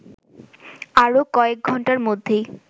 আর কয়েক ঘন্টার মধ্যেই